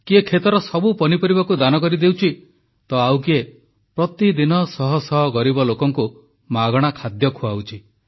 କିଏ କ୍ଷେତର ସବୁ ପନିପରିବାକୁ ଦାନ କରିଦେଉଛି ତ ଆଉ କିଏ ପ୍ରତିଦିନ ଶହଶହ ଗରିବ ଲୋକଙ୍କୁ ମାଗଣା ଖାଦ୍ୟ ଖୁଆଉଛି